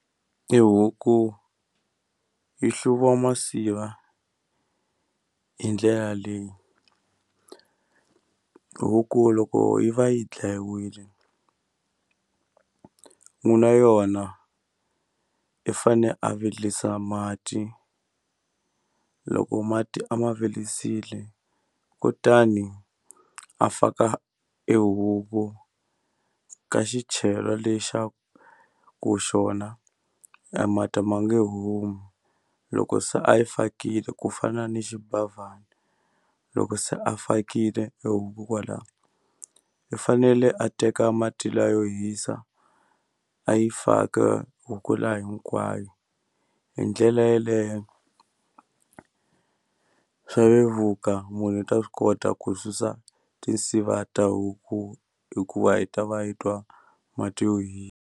I huku yi hluriwa masiva hi ndlela leyi huku loko yi va yi dlayiwile n'wini wa yona i fane a virisa mati loko mati a ma virisile kutani a faka ehuku ka xichelwa lexaku xona e mati ma nge humi loko se a yi fakile ku fana ni xibavhana loko se a fakile huku kwalaho i fanele a teka mati la yo hisa a yi faka huku la hinkwayo hi ndlela yeleyo swa vevuka munhu u ta swi kota ku susa tinsiva ta huku hikuva yi ta va yi twa mati yo hi.